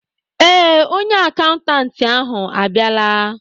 Ee, onye akaụntantị ahụ abịala.